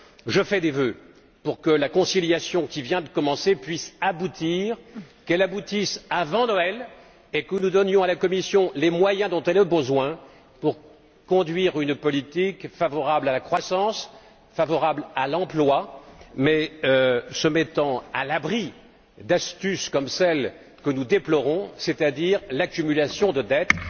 Je fais des vœux pour que la conciliation, qui vient de commencer, puisse aboutir, qu'elle aboutisse avant Noël et que nous donnions à la Commission les moyens dont elle a besoin pour conduire une politique qui soit favorable à la croissance et à l'emploi mais qui se mette à l'abri d'astuces comme celle que nous déplorons, c'est à dire l'accumulation de dettes.